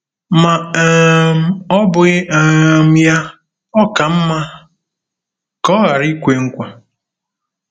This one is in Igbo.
Ma um ọ́ bụghị um ya, ọ ka mma ka ọ ghara ikwe nkwa.